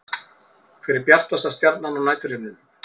Hver er bjartasta stjarnan á næturhimninum?